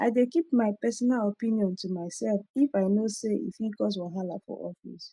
i dey keep my personal opinion to myself if i know say e fit cause wahala for office